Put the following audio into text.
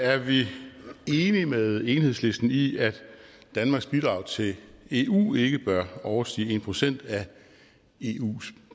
er vi enige med enhedslisten i at danmarks bidrag til eu ikke bør overstige en procent af eus